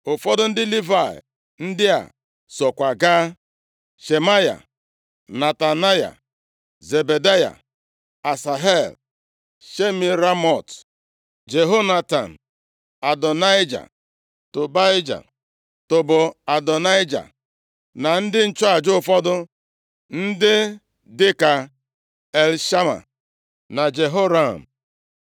Ụfọdụ ndị Livayị ndị a sokwa gaa: Shemaya, Netanaya, Zebadaya, Asahel, Shemiramot, Jehonatan, Adonaịja, Tobaija, Tob-Adonaịja na ndị nchụaja ụfọdụ, ndị dị ka Elishama na Jehoram.